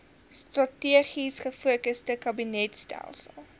strategies gefokusde kabinetstelsel